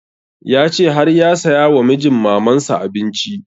Ya ce har ya saya wa mijin maman sa abinci